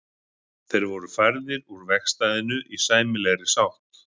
Þeir voru færðir úr vegstæðinu í sæmilegri sátt.